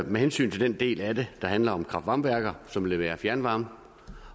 med hensyn til den del af det der handler om kraft varme værker som leverer fjernvarme